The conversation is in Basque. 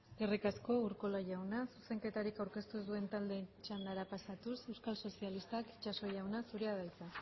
eskerrik asko urkola jauna zuzenketarik aurkeztu ez duten taldeen txandara pasatuz euskal sozialistak itxaso jauna zurea da hitza